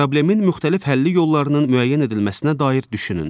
Problemin müxtəlif həlli yollarının müəyyən edilməsinə dair düşünün.